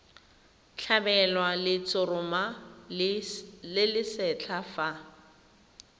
tlhabelwa letshoroma le lesetlha fa